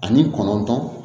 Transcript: Ani kɔnɔntɔn